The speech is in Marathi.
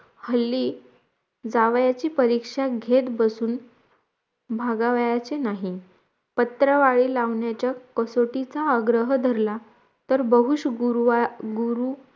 हल्ली जावयाची परीक्षा घेत बसून भागावयाचे नाहीत पत्रावळी लावण्याच्या कसोटीचा आग्रह धरला तर बगूश गुरुवार गुरु